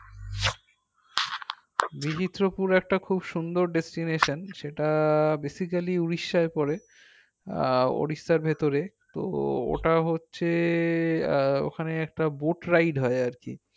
বীচিত্রপুর একটা খুব সুন্দর destination সেইটা basically উড়িষ্যার পরে আহ উড়িষ্যার ভেতরে তো ওটা হচ্ছে আহ ওখানে একটা boat ride হয় আর কি